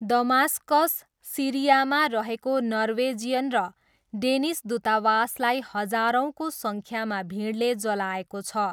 Damascus, सिरियामा रहेको Norwegian र डेनिस दूतावासलाई हजारौँको सङ्ख्यामा भिडले जलाएको छ।